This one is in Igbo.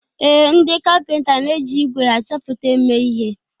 Ee, ndị kapịnta na-eji ígwè achọpụta eme ihe